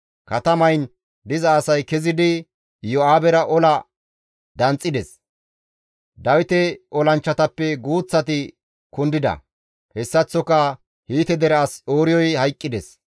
Katamayin diza asay kezidi Iyo7aabera ola danxxides; Dawite olanchchatappe guuththati kundida; hessaththoka Hiite dere as Ooriyoy hayqqides.